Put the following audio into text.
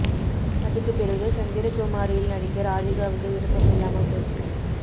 அதுக்கு பிறகு சந்திரகுமாரியில் நடிக்க ராதிகாவுக்கு விருப்பம் இல்லாம போச்சு